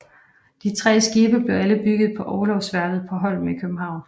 De tre skibe blev alle bygget på Orlogsværftet på Holmen i København